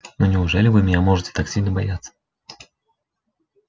но неужели вы меня можете так сильно бояться